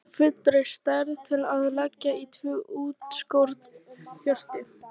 Kistu af fullri stærð til að leggja í tvö útskorin hjörtu.